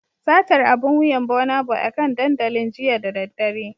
Satar abun wuyan Burnaboy akan dandalin jiya da daddare